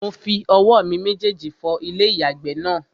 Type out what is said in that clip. Mo fi owó mi méjèjì fọ ilé-ìyàgbẹ̀ náà